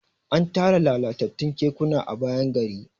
an Tara lalatattun kekuna a bayan gari